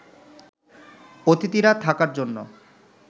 অতিথিরা থাকার জন্য